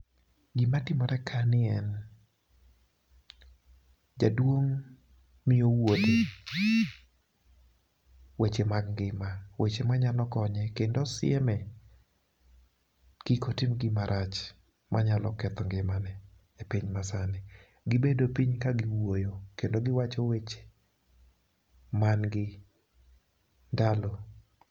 Gima timore kani en, jaduong' miyo wuode weche mag ngima. Weche manyalo konye, kendo osieme kik otim gima rach manyalo ketho ngimane e piny masani. Gibedo piny kagiwuoyo kendo giwacho weche mangi ndalo.